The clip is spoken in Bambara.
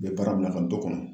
U bɛ baara min na ka n t'o kɔnɔ